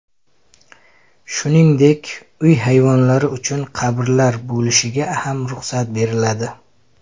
Shuningdek, uy hayvonlari uchun qabrlar bo‘lishiga ham ruxsat beriladi.